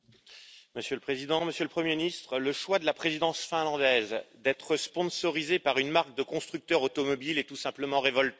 Monsieur le Président, Monsieur le Premier ministre, le choix de la Présidence finlandaise d'être sponsorisée par une marque de constructeur automobile est tout simplement révoltant.